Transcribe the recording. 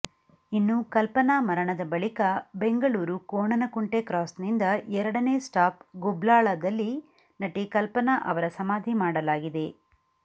ಇನ್ನು ಕಲ್ಪನಾ ಮರಣದ ಬಳಿಕ ಬೆಂಗಳೂರು ಕೋಣನಕುಂಟೆ ಕ್ರಾಸ್ನಿಂದ ಎರಡನೇ ಸ್ಟಾಪ್ ಗುಬ್ಲಾಳದಲ್ಲಿ ನಟಿ ಕಲ್ಪನಾ ಅವರ ಸಮಾಧಿ ಮಾಡಲಾಗಿದೆ